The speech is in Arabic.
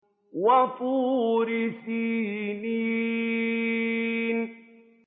وَطُورِ سِينِينَ